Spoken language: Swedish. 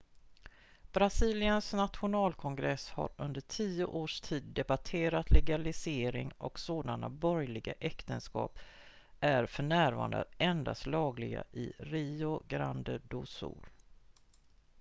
brasiliens nationalkongress har under tio års tid debatterat legalisering och sådana borgerliga äktenskap är för närvarande endast lagliga i rio grande do sul